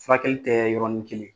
Furakɛli tɛ yɔrɔnin kelen